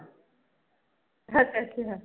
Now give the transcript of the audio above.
ਅੱਛਾ ਅੱਛਾ।